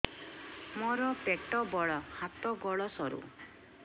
ମୋର ପେଟ ବଡ ହାତ ଗୋଡ ସରୁ